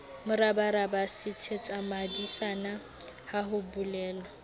morabaraba sethetsabadisana ha ho bolelwa